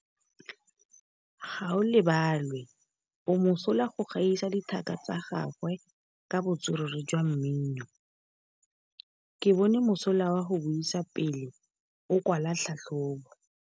Gaolebalwe o mosola go gaisa dithaka tsa gagwe ka botswerere jwa mmino. Ke bone mosola wa go buisa pele o kwala tlhatlhobô.